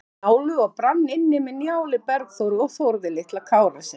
Njálu og brann inni með Njáli, Bergþóru og Þórði litla Kárasyni.